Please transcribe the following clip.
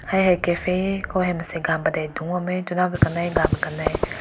hai hai cafe he ko mansai gan padink dung bam meh tuna kanai gun kanai.